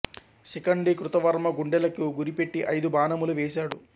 శిఖండి కృతవర్మ గుండెలకు గురి పెట్టి అయిదు బాణములు వేసాడు